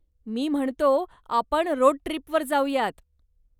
मी म्हणतो, आपण रोड ट्रीपवर जाऊयात.